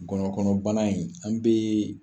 Gɔnɔ kɔnɔ bana in ,an be